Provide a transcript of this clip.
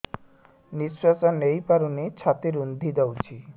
ନିଶ୍ୱାସ ନେଇପାରୁନି ଛାତି ରୁନ୍ଧି ଦଉଛି